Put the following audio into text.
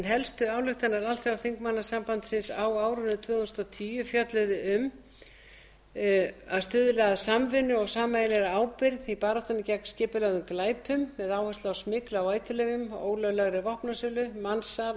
helstu ályktanir alþjóðaþingmannasambandsins á árinu tvö þúsund og tíu fjölluðu um fyrstu að stuðla að samvinnu og sameiginlegri ábyrgð í baráttunni gegn skipulögðum glæpum með áherslu á smygl á eiturlyfjum ólöglega vopnasölu mansal